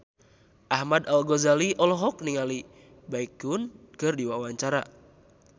Ahmad Al-Ghazali olohok ningali Baekhyun keur diwawancara